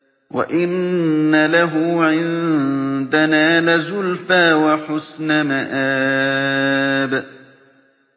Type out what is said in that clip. وَإِنَّ لَهُ عِندَنَا لَزُلْفَىٰ وَحُسْنَ مَآبٍ